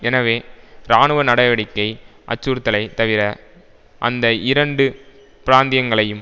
எனவே ராணுவ நடவடிக்கை அச்சுறுத்தலை தவிர அந்த இரண்டு பிராந்தியங்களையும்